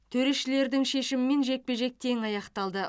төрешілердің шешімімен жекпе жек тең аяқталды